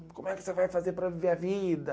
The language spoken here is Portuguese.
Como é que você vai fazer para viver a vida?